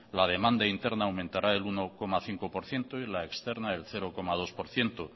la demanda interna aumentará el uno coma cinco por ciento y la externa el cero coma dos por ciento